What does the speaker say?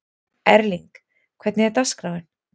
Erling, hvernig er dagskráin?